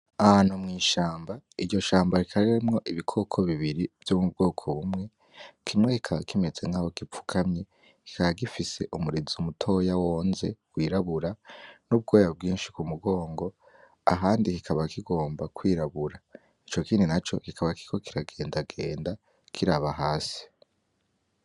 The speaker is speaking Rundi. Ahantu mu ishamba, iryo shamba rikaba rimwo ibikoko bibiri vyo mu bwoko bumwe, kimwe kikaba kimeze nkaho gipfukamye, kikaba gifise umurizo mutoya w'onze, wirabura, n'ubwoya bwinshi ku mugongo, ahandi kikaba kigomba kwirabura. Ico kindi naco kikaba kiriko kiragendagenda kiraba hasi.